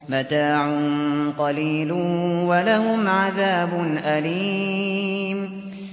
مَتَاعٌ قَلِيلٌ وَلَهُمْ عَذَابٌ أَلِيمٌ